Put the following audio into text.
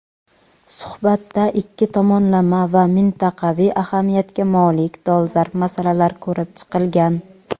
suhbatda ikki tomonlama va mintaqaviy ahamiyatga molik dolzarb masalalar ko‘rib chiqilgan.